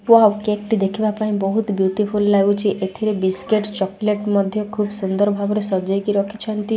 Wow cake ଟି ଦେଖିବା ପାଇଁ ବହୁତ୍ ବିୟୁଟି ଫୁଲ୍ ଲାଗୁଚି। ଏଥିରେ ବିସ୍କୁଟ ଚକଲେଟ ମଧ୍ୟ ଖୁବ୍ ସୁନ୍ଦର୍ ଭାବରେ ସଜେଇକି ରଖିଛନ୍ତି।